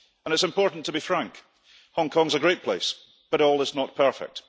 And it's important to be frank Hong Kong is a great place but all is not perfect.